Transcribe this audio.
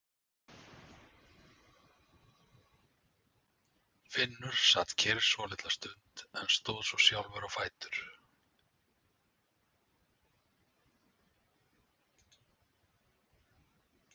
Finnur sat kyrr svolitla stund en stóð svo sjálfur á fætur.